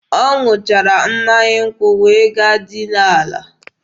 Ọ ṅụchara mmanya nkwụ wee gaa dinaa ala.